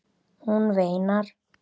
Hún veinar.